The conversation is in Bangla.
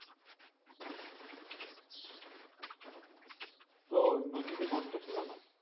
তো নদীতে গর্ত ছিল না,